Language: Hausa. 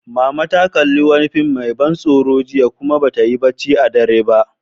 Mama ta kalli wani fim mai ban tsoro jiya, kuma ba ta yi barci a dare ba.